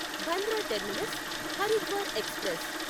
Bandra terminus Haridwar express